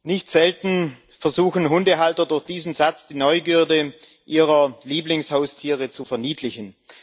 Nicht selten versuchen Hundehalter, durch diesen Satz die Neugierde ihrer Lieblingshaustiere zu verniedlichen.